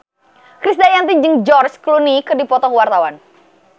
Krisdayanti jeung George Clooney keur dipoto ku wartawan